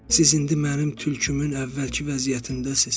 Siz indi mənim tülkümü əvvəlki vəziyyətindəsiz.